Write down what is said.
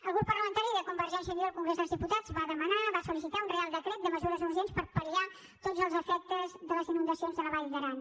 el grup parlamentari de convergència i unió al congrés dels diputats va demanar va solreial decret de mesures urgents per pal·liar tots els efectes de les inundacions de la vall d’aran